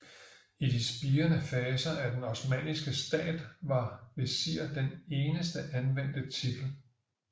I de spirende faser af den osmanniske stat var vesir den eneste anvendte titel